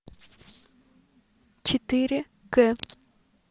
четыре к